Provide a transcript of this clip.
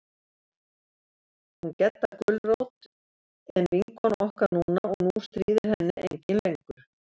Hún Gedda gulrót en vinkona okkar núna og nú stíðir henni enginn lengur.